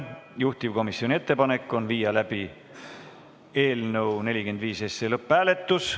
Juhtivkomisjoni ettepanek on viia läbi eelnõu 45 lõpphääletus.